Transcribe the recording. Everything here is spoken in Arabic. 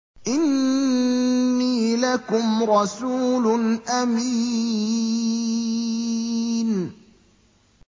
إِنِّي لَكُمْ رَسُولٌ أَمِينٌ